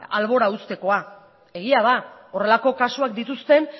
albora uztekoa egia da horrelako kasuak dituzten